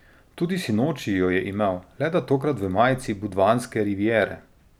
Tudi sinoči jo je imel, le da tokrat v majici Budvanske rivijere.